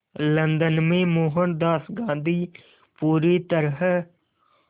London में मोहनदास गांधी पूरी तरह